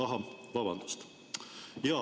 Ahah, vabandust!